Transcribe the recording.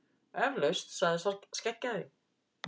Eflaust, sagði sá skeggjaði.